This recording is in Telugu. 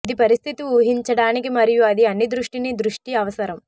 ఇది పరిస్థితి ఊహించడానికి మరియు అది అన్ని దృష్టిని దృష్టి అవసరం